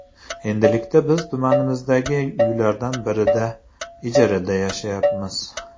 Endilikda biz tumanimizdagi uylardan birida ijarada yashayapmiz.